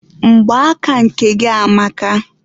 Mgba aka gị nke a amaka.